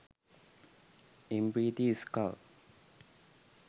mp3 skull